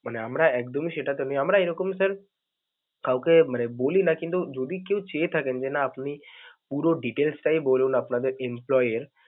মানে আমরা একদমই সেটাতে নেই, আমরা এরকমই sir কাউকে মানে বলি না কিন্তু যদি কেউ চেয়ে থাকেন যে না আপনি পুরো details টাই বলুন আপনাদের employee এর.